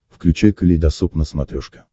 включай калейдосоп на смотрешке